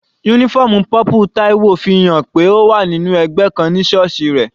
Uniform purple Taiwo fi hàn pé ó wà nínú ẹgbẹ́ kan ní sọọsi rẹ̀.